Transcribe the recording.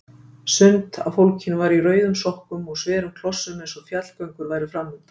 Sumt af fólkinu var í rauðum sokkum og sverum klossum eins og fjallgöngur væru framundan.